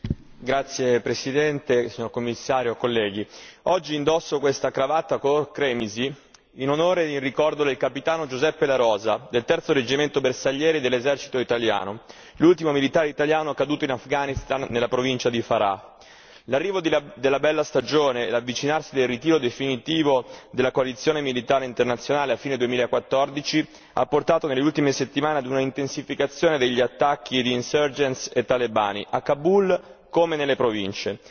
Signora Presidente, Signor Commissario, onorevoli colleghi, oggi indosso questa cravatta color cremisi, in onore e in ricordo del capitano Giuseppe La Rosa, del terzo reggimento bersaglieri dell'esercito italiano, l'ultimo militare italiano caduto in Afghanistan, nella provincia di Farah. L'arrivo della bella stagione e l'avvicinarsi del ritiro definitivo della coalizione militare internazionale a fine 2014, ha portato nelle ultime settimane a una intensificazione degli attacchi di insurgens e talebani, a Kabul come nelle province.